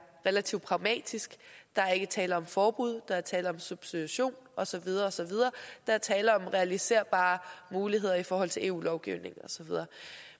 relativt pragmatisk der er ikke tale om forbud der er tale om substitution og så videre og så videre der er tale om realiserbare muligheder i forhold til eu lovgivningen og så videre